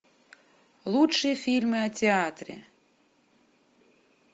лучшие фильмы о театре